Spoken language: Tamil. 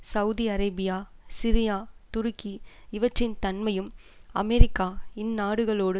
செளதி அரேபியா சிரியா துருக்கி இவற்றின் தன்மையும் அமெரிக்கா இந்நாடுகளோடு